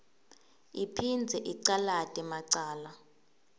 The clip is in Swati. iphindze icalate macala